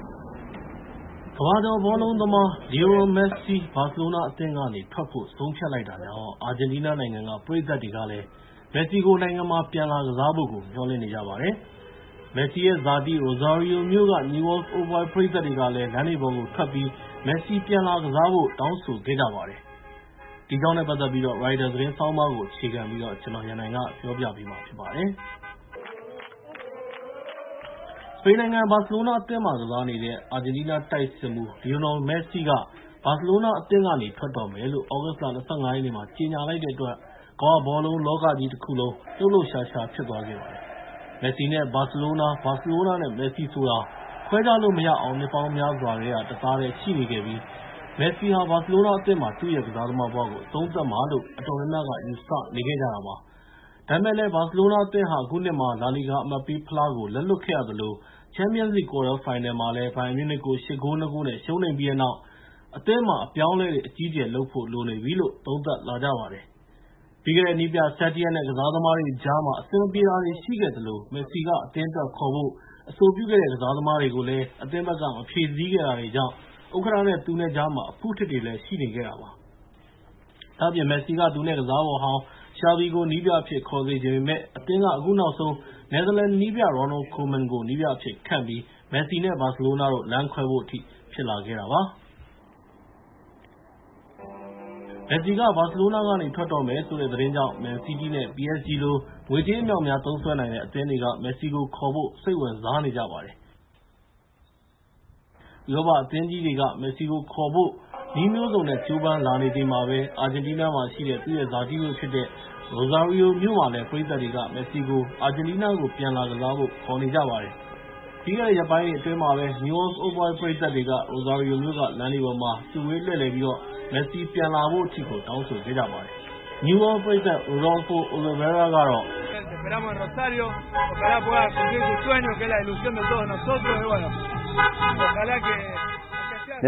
ကမ္ဘာကျော်ဘောလုံးသမား လီယိုနယ်မက်ဆီ ဘာစီလိုနာအသင်းကနေထွက်ဖို့ဆုံးဖြတ်လိုက်တာကြောင့်၊ အာဂျင်တီးနားနိုင်ငံက ပရိသတ်တွေကလည်း နိုင်ငံမှာ ပြန်လာကစားဖို့. မျှော်လင့်နေကြပါတယ်။ မက်ဆီရဲ့ ဇာတိ Rosario မြို့က Newell Old Boys ပရိသတ်တွေကလည်း လမ်းတွေပေါ်ကိုထွက်ပြီး မက်ဆီပြန်လာဖို့ ခေါ်နေကြတဲ့အကြောင်း ရိုက်တာသတင်းဆောင်းပါးကို အခြေခံပြီး ကိုရန်နိုင်က ပြောပြပေးမှာဖြစ်ပါတယ်။ စပိန်နိုင်ငံဘာစီလိုနာအသင်းမှာ ကစားနေတဲ့ အာဂျင်တီးနားတိုက်စစ်မှူး လီယိုနယ်မက်ဆီက ဘာစီလိုနာအသင်းကနေ ထွက်တော့မယ်လို့ သြဂုတ်လ ၂၅ ရက်နေ့မှာ ကြေညာလိုက်တဲ့အတွက် ကမ္ဘာဘောလုံးလောကကြီးတခုလုံး လှုပ်လှုပ်ရှားရှား ဖြစ်သွားခဲ့ပါတယ်။ မက်ဆီ နဲ့ ဘာစီလိုနာ၊ ဘာစီလိုနာနဲ့မက်ဆီဆိုတာ ခွဲခြားလို့မရအောင် နှစ်ပေါင်းများစွာတသားတည်းရှိနေခဲ့ပြီး မက်ဆီဟာ ဘာစီလိုနာအသင်းမှာပဲ သူ့ရဲ့ ကစားသမားဘဝကို အဆုံးသတ်မှာလို့ အတော်များများက ယူဆထားကြတာပါ။ ဒါပေမဲ့ ဘာစီလိုနာအသင်းဟာ အခုနှစ်မှာ လာလီဂါအမှတ်ပေးဖလားကို လက်လွှတ်ခဲ့ရသလို၊ ပြီးခဲ့တဲ့ ချန်ပီယံလိဂ် ကွာတားဖိုင်နယ်ပွဲစဉ်မှာ ဘိုင်ယန်မြူးနစ်ကို ၈ ဂိုး ၂ ဂိုး နဲ့ ရှုံးနိမ့်ခဲ့ပြီးတဲ့နောက် အသင်းမှာ အပြောင်းအလဲ အကြီးအကျယ်လုပ်ဖို့လိုနေပြီလို့ သုံးသပ်လာကြပါတယ်။ ပြီးခဲ့တဲ့ နည်းပြ Setien နဲ့ ကစားသမားတွေကြားမှာ အဆင်မပြေတာတွေရှိခဲ့သလို၊ မက်ဆီက အသင်းအတွက် ခေါ်ဖို့ အဆိုပြုတဲ့ ကစားသမားတွေ အသင်းက မဖြည့်ဆည်းခဲ့တာတွေကြောင့် ဥက္ကဋ္ဌနဲ့ သူနဲ့ ကြားမှာလည်း အဖုအထစ်တွေ ရှိနေခဲ့တာပါ။ ဒါ့အပြင် မက်ဆီက သူနဲ့ကစားဖော်ဟောင်း Xavi ကို နည်းပြအဖြစ် ခေါ်စေချင်ပေမယ့်၊ အသင်းက အခုနောက်ဆုံး နယ်သာလန်နည်းပြ Ronald Koeman ကို နည်းပြအဖြစ်ခန့်ခဲ့ပြီး၊ မက်ဆီ နဲ့ ဘာစီလိုနာ လမ်းခွဲဖို့အထိ ဖြစ်လာခဲ့တာပါ။ မက်ဆီက ဘာစီလိုနာကနေ ထွက်တော့မယ်ဆိုတဲ့ သတင်းကြောင့်၊ မန်စီးတီး နဲ့ PSG လို ငွေကြေးအမြောက်အများသုံးစွဲနိုင်တဲ့ အသင်းတွေက မက်ဆီကို ခေါ်ဖို့ စိတ်ဝင်စားနေကြပါတယ်။ ဥရောပအသင်းကြီးတွေက မက်ဆီကိုခေါ်နိုင်ဖို့ နည်းမျိုးစုံနဲ့ ကြိုးပမ်းလာနေချိန်မှာပဲ၊ အာဂျင်တီးနားမှာရှိတဲ့ သူ့ရဲ့ ဇာတိမြို့ဖြစ်တဲ့ Rosario မြို့မှာလည်း ပရိသတ်တွေက မက်ဆီကို အာဂျင်တီးနားပြန်လာကစားဖို့ ခေါ်နေကြပါတယ်။ ပြီးခဲ့တဲ့ရက်ပိုင်းတွေအတွင်းမှာပဲ Newell ပရိသတ်တွေဟာ Rosario မြို့က လမ်းတွေပေါ်မှာ စုဝေးလှည့်လည်ပြီးတော့ မက်ဆီ ပြန်လာဖို့ တောင်းဆိုခဲ့ကြပါတယ်။ Newell’s ပရိသတ် Rodlfo Olivera ကတော့ "မက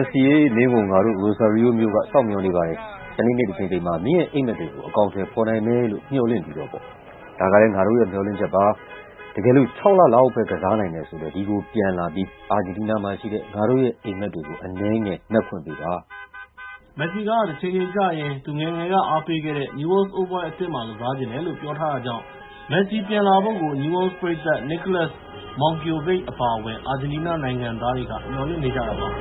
်ဆီ ရေ- မင်းကို ငါတို့ Rosario မြိုက စောင့်မျှော်နေပါတယ်။ တနေတနေ့တချိန်ချိန်မှာ မင်းရဲ့ အိပ်မက်တွေကို အကောင်အထည်ဖော်နိုင်မယ်လို့မျှော်လင့်ပြီး၊ ဒါကလည်း ငါတို့ရဲ့ မျှော်လင့်ချက်ပါ။ တကယ်လို့ ၆ လ လောက်ပဲ ကစားနိုင်တယ်ဆိုလည်း ဒီကိုပြန်လာနိုင်ပြီး အာဂျင်တီးနားမှာရှိတဲ့ ငါတို့ရဲ့ အိပ်မက်တွေကို အနည်းငယ်မက်ခွင့်ပေးပါ။ " မက်ဆီက တချိန်ချိန်ကျရင် သူ့ငယ်ငယ်က အားပေးခဲ့တဲ့ Rosario မြို့က Newell’s Old Boys အသင်းမှာ ကစားချင်တယ်လို့ ပြောထားတာကြောင့် မက်ဆီကို ပြန်လာဖို့ Newell’s ပရိသတ် Niolas Monkiovic အပါအဝင် အာဂျင်တီးနားနိုင်ငံသားတွေက မျှော်လင့်နေကြတာပါ။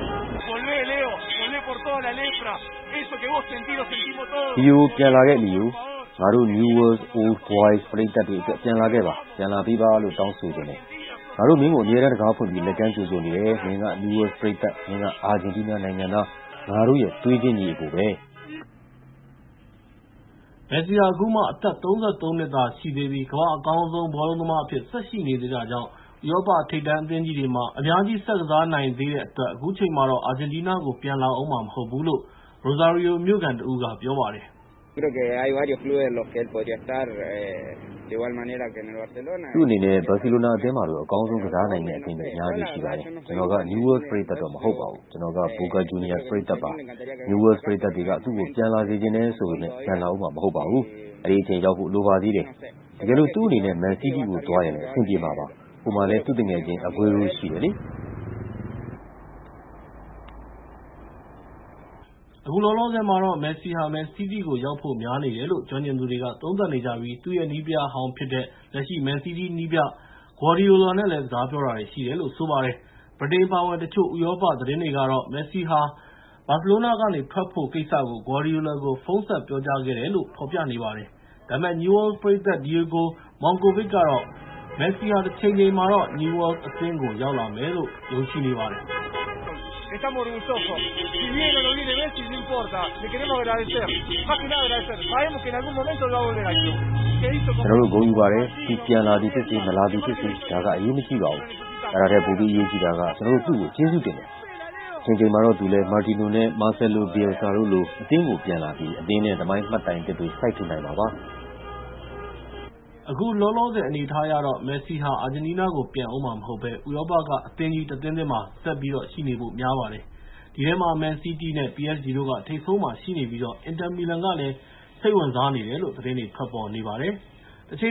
"လီယို ပြန်လာခဲ့ လီယို၊ ငါတို့ Newelll’s Old Boys ပရိသတ်တွေအတွက် ပြန်လာခဲ့ပါ၊ ပြန်လာပေးပါလို့ တောင်းဆိုချင်တယ်။ ငါတို့ မင်းကို အမြဲတမ်းတံခါးဖွင့်ပြီး လက်ကမ်းကြိုဆိုနေတယ်။ မင်းက Newell’s ပရိသတ်၊ မင်းက အာဂျင်တီးနားနိုင်ငံသား၊ ငါတို့ရဲ့ သွေးချင်း ညီအစ်ကိုပဲ။" မက်ဆီဟာ အခုမှ အသက် ၃၃ နှစ် သာရှိသေးပြီး ၊ ကမ္ဘာ့အကောင်းဆုံးဘောလုံးသမားတစ်ယောက်အဖြစ် ဆက်ရှိနေသေးတာကြောင့် ဥရောပထိပ်တန်းအသင်းကြီးတွေမှာ အများကြီး ဆက်ကစားနိုင်သေးတဲ့အတွက် အခုချိန်မှာတော့ အာဂျင်တီးနားနိုင်ငံကို ပြန်လာအုံးမှာ မဟုတ်သေးဘူးလို့ Rosario မြို့ခံတဦးက ပြောပါတယ်။ "သူ့အနေနဲ့ ဘာစီလိုနာအသင်းမှာလို အကောင်းဆုံးကစားနိုင်မယ့် အသင်းတွေ အများအပြားရှိပါတယ်။ ကျနော်က Newell’s ပရိသတ်မဟုတ်ပါဘူး ကျနော်က Boca Juniors ပရိသတ်ပါ။ Newell’s ပရိသတ်တွေက သူ့ကို ပြန်လာစေချင်တယ်ဆိုပေမယ့်၊ ပြန်လာအုံးမှာ မဟုတ်ပါဘူး အဲဒီအချိန်ရောက်ဖို့ လိုပါသေးတယ်။ တကယ်လို့ သူ့အနေနဲ့ မန်စီးတီကို သွားရင်လည်း အဆင်ပြေမှာပါ ဟိုမှာလည်း သူ့သူငယ်ချင်း အဂွေးရိုးရှိတယ်လေ။" အခုလောလောဆယ်မှာတော့ မက်ဆီဟာ မန်စီးတီးရောက်ဖို့များနေတယ်လို့ ကျွမ်းကျင်သူတွေက သုံးသပ်နေကြပြီး၊ သူ့ရဲ့နည်းပြဟောင်းဖြစ်တဲ့ လက်ရှိ မန်စီးတီးနည်းပြ ဂွါဒီယိုလာ နဲ့လည်း စကားပြောတာတွေရှိတယ်လို့ ဆိုပါတယ်။ ဗြိတိန်အပါအဝင် တချို့ဥရောပသတင်းတွေကဆို မက်ဆီဟာ ဘာစီလိုနာကနေ ထွက်ဖို့ကိစ္စကို ဂွါဒီယိုလာကို ဖုန်းဆက်ပြောကြားခဲ့တယ်လို့ ဖော်ပြနေပါတယ်။ ဒါပေမဲ့ Newell’s ပရိသတ် Diego Monkovic ကတော့ မက်ဆီဟာ တချိန်ချိန်မှာတော့ Newell’s အသင်းကိုရောက်လာမယ်လို့ ယုံကြည်နေပါတယ်။ "ကျနော်တို့ ဂုဏ်ယူပါတယ်။ သူပြန်လာသည်ဖြစ်စေ၊ မလာသည်ဖြစ်စေ၊ ဒါက အရေးမကြီးပါဘူး။ အဲဒါထက် ပိုပြီးအရေးကြီးတာက ကျနော်တို့ သူ့ကို ကျေးဇူးတင်တယ်၊ တချိန်ချိန်မှာတော့ သူလည်း Martino နဲ့ Marcelo Bielsa တို့လို အသင်းကို သူပြန်လာပြီး အသင်းနဲ့ သမိုင်းမှတ်တိုင်သစ်တွေ စိုက်ထူနိုင်မှာပါ။ " အခုလောလောဆယ်အနေအထားအရ ၊ မက်ဆီ အနေနဲ့ အာဂျင်တီးနားကို ပြန်လာဦးမှာမဟုတ်ဘဲ ၊ ဥရောပက အသင်းကြီးတသင်းသင်းမှာပဲ ဆက်ရှိနေဖို့များပါတယ်။ ဒီထဲမှာ မန်စီးတီး နဲ့ PSG တို့က ထိပ်ဆုံးမှာရှိနေပြီး ၊ အင်တာမီလန်ကလည်း စိတ်ဝင်စားနေတယ်လို့ သတင်းတွေထွက်နေပါတယ်။ သေခ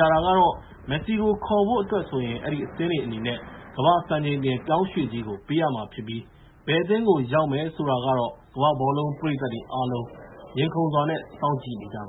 ျာတာကတော့ မက်ဆီကိုခေါ်နိုင်ဖို့အတွက်ဆိုရင် အဲဒီအသင်းအနေနဲ့ ကမ္ဘာ့စံချိန်တင်ပြောင်းရွှေ့ကြေးကို ပေးရမှာဖြစ်ပြီး၊ ဘယ်အသင်းကို ရောက်မယ်ဆိုတာကတော့ ကမ္ဘာ့ဘောလုံးပရိသတ်တွေ အားလုံး ရင်ခုန်စွာ နဲ့ စောင့်ကြည့်နေကြပါ